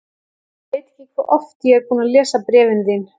Ég veit ekki hve oft ég er búinn að lesa bréfin þín.